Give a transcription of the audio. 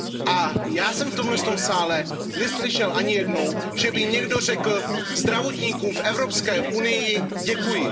A já jsem v tomhle sále neslyšel ani jednou, že by někdo řekl zdravotníkům v Evropské unii Děkuji..